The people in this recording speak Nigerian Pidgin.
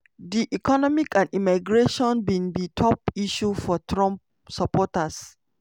di economy and immigration bin be top issues for trump supporters.